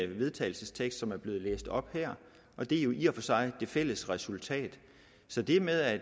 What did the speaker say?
vedtagelsestekst som er blevet læst op her og det er jo i og for sig det fælles resultat så det med at